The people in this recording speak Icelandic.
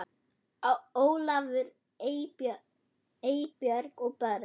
Ólafur, Eybjörg og börn.